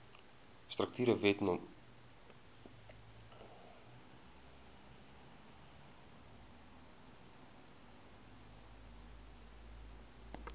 strukture wet no